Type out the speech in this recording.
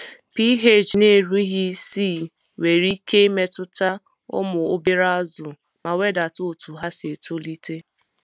pH n'erughi isii nwere ike imetuta ụmụ obere azụ ma wedata otu ha si etolite.